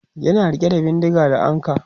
yana rike da bindinga da ankwa